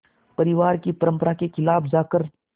परिवार की परंपरा के ख़िलाफ़ जाकर